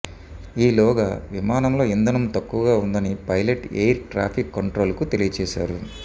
ఈలోగా విమానంలో ఇంధనం తక్కువగా ఉందని పైలట్ ఎయిర్ ట్రాఫిక్ కంట్రోల్ కు తెలియచేశారు